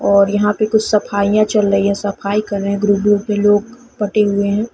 और यहाँ पे कुछ सफाईयाँ चल रही है सफाई कर रहे है ग्रुप -ग्रुप के लोग बटे हुए हैं।